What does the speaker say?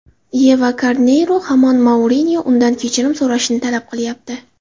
Yeva Karneyro hamon Mourinyo undan kechirim so‘rashini talab qilyapti.